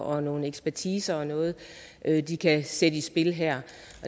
og nogle ekspertiser og noget de kan sætte i spil her